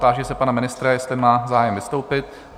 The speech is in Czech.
Táži se pana ministra, jestli má zájem vystoupit?